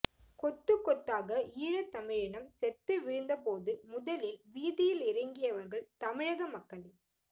கொத்துக் கொத்தாகத் ஈழத் தமிழினம் செத்து வீழ்ந்த போது முதலில் வீதியில் இறங்கியவர்கள் தமிழக மக்களே